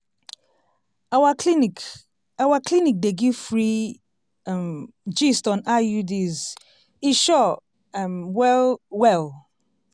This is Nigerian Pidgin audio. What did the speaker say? our clinic our clinic dey give free um gist on iuds e sure um well well!